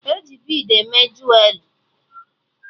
E ji bid eme juwerị